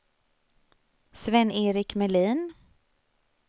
Sven-Erik Melin